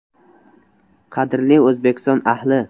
“Qadrli O‘zbekiston ahli!